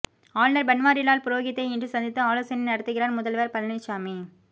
ஆளுநர் பன்வாரிலால் புரோகித்தை இன்று சந்தித்து ஆலோசனை நடத்துகிறார் முதல்வர் பழனிசாமி